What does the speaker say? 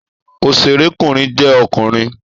Òṣèré kùnrin jẹ́ ọkùnrin